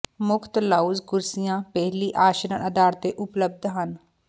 ਮੁਫ਼ਤ ਲਾਉਂਜ ਕੁਰਸੀਆਂ ਪਹਿਲੀ ਆਸ਼ਰਣ ਆਧਾਰ ਤੇ ਉਪਲਬਧ ਹਨ